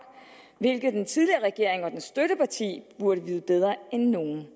hvilket den tidligere regering og dens støtteparti burde vide bedre end nogen